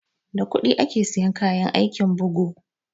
Da kuɗi ake siyan kayan aikin bugu